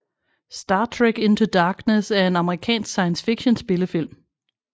Star Trek Into Darkness er en amerikansk science fiction spillefilm